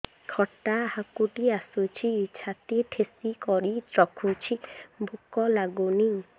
ଖଟା ହାକୁଟି ଆସୁଛି ଛାତି ଠେସିକରି ରଖୁଛି ଭୁକ ଲାଗୁନି